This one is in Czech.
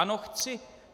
Ano, chci.